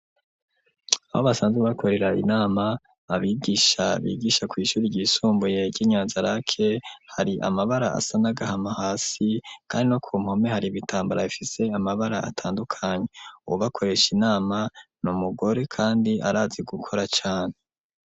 Aho basanzwe bakorera inama, abigisha bigisha kw'ishuri ryisumbuye ry'i Nyanzarake, hari amabara asa n'agahama hasi, kandi no ku mpome hari ibitambara bifise amabara atandukanye, uwubakoresha inama ni umugore kandi arazi gukora cane.